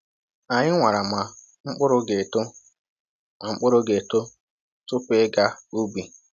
Anyị nwara ma mkpụrụ ga-eto ma mkpụrụ ga-eto tupu ịga ubi.